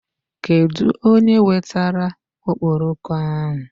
Kedụ onye wetara okporoko ahụ?